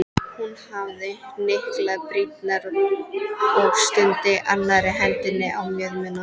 Hún hafði hnyklað brýnnar og studdi annarri hendinni á mjöðmina.